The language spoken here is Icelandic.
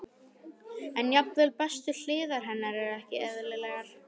En jafnvel bestu hliðar hennar eru ekki eðlilegar.